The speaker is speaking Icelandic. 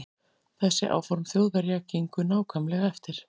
Þessi áform Þjóðverja gengu nákvæmlega eftir.